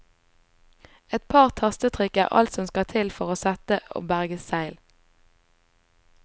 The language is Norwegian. Et par tastetrykk er alt som skal til for å sette og berge seil.